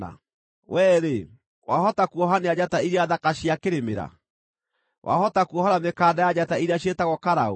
“Wee-rĩ, wahota kuohania njata iria thaka cia Kĩrĩmĩra? Wahota kuohora mĩkanda ya njata iria ciĩtagwo Karaũ?